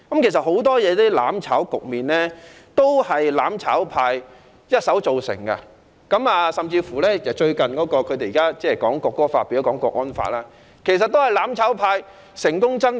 其實，很多"攬炒"局面都是"攬炒派"一手造成，甚至現時港區國安法也是"攬炒派"成功爭取。